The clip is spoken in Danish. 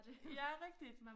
Ja rigtigt